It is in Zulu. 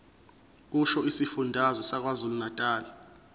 kusho isifundazwe sakwazulunatali